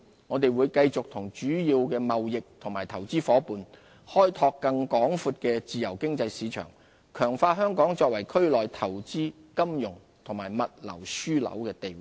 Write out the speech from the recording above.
我們會繼續與主要貿易和投資夥伴，開拓更廣闊的自由經濟市場，強化香港作為區內投資、金融及物流樞紐的地位。